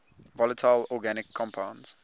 volatile organic compounds